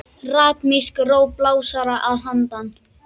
Ritmísk ró blásara að handan.